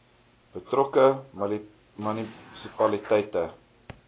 betrokke munisipaliteit se